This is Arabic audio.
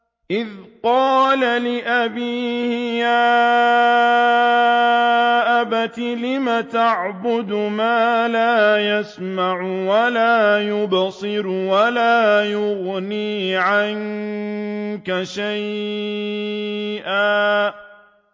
إِذْ قَالَ لِأَبِيهِ يَا أَبَتِ لِمَ تَعْبُدُ مَا لَا يَسْمَعُ وَلَا يُبْصِرُ وَلَا يُغْنِي عَنكَ شَيْئًا